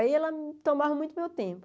Aí ela tomava muito meu tempo.